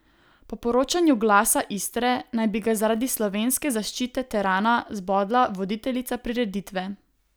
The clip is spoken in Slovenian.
Po poročanju Glasa Istre naj bi ga zaradi slovenske zaščite terana zbodla voditeljica prireditve.